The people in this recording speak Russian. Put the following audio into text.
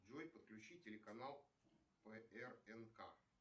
джой подключи телеканал прнк